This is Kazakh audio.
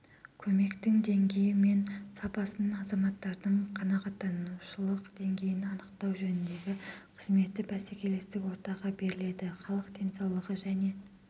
көмектің деңгейі мен сапасына азаматтардың қанағаттанушылық деңгейін анықтау жөніндегі қызметі бәсекелестік ортаға беріледі халық денсаулығы және